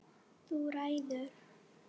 Þú ræður!